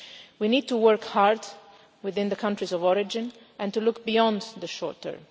We need to work hard within the countries of origin and to look beyond the short term.